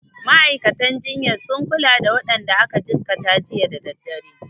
Ma'aikatan jinyar sun kula da waɗanda aka jikkata jiya da daddare.